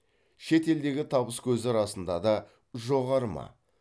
шет елдегі табыскөзі расында да жоғары ма